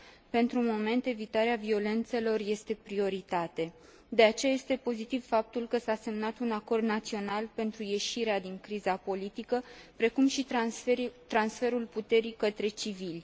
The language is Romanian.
Pentru moment, evitarea violențelor este o prioritate, de aceea este pozitiv faptul că s a semnat un acord național pentru ieșirea din criza politică, precum și transferul puterii către civili.